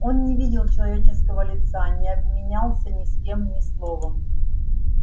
он не видел человеческою лица не обменялся ни с кем ни словом